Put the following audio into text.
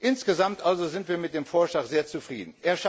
Insgesamt also sind wir mit dem Vorschlag sehr zufrieden.